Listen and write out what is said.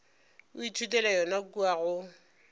o ithutela yona kua go